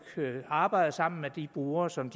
arbejde sammen med de brugere som